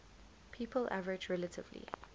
people average relatively